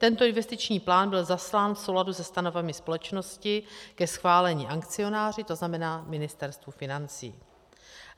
Tento investiční plán byl zaslán v souladu se stanovami společnosti ke schválení akcionáři, to znamená Ministerstvu financí.